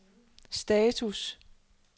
status